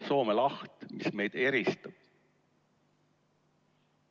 Soome laht, mis meid eraldab.